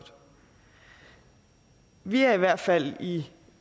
vi er i hvert fald i